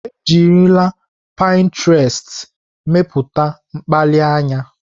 Ejirila pịntrestị mepụta mkpali anya.